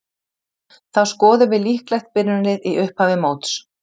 Þá skoðum við líklegt byrjunarlið í upphafi móts.